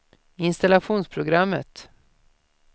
installationsprogrammet